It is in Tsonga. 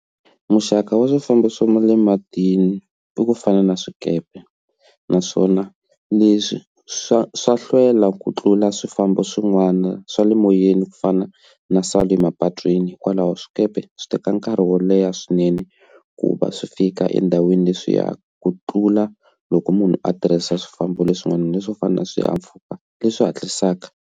Muxaka wa swifambo swo ma le matini i ku fana na swikepe naswona leswi swa swa hlwela ku tlula swifambo swin'wana swa le moyeni ku fana na sal le mapatwini hikwalaho swikepe swi teka nkarhi wo leha swinene ku va swi fika endhawini leswiya ku tlula loko munhu a tirhisa swifambo leswin'wana swo fana na swihahampfhuka leswi hatlisaka.